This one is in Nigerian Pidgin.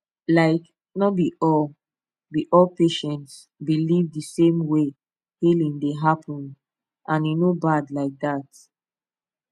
like no be all be all patients believe the same way healing dey happen and e no bad like that